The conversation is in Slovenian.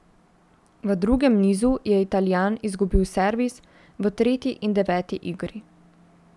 V drugem nizu je Italijan izgubil servis v tretji in deveti igri.